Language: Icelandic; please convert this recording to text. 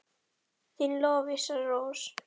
Þín Lovísa Rós.